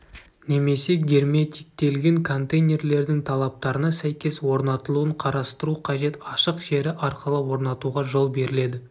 немесе герметиктелген контейнерлердің талаптарына сәйкес орнатылуын қарастыру қажет ашық жері арқылы орнатуға жол беріледі